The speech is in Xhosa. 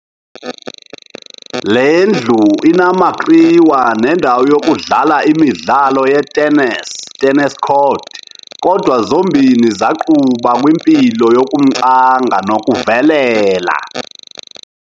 Lendlu inamakriwa ne ndawo yokudlala imidlalo yeTennis, Tennis Court, kodwa zombini zaquba kwi mpilo yokumcanga noku velela.